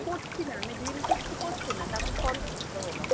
করছি না, আমি reel তো কিছু করছি না, তা আমি follow কী হলাম?